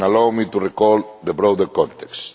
Allow me to recall the broader context.